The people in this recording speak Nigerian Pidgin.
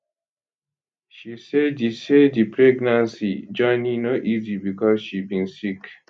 she say di say di pregnancy journey no easy becos she bin sick